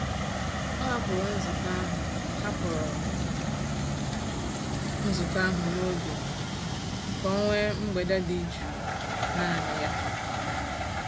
O hapụrụ nzukọ ahụ hapụrụ nzukọ ahụ n'oge ka o nwee mgbede dị jụụ naanị ya.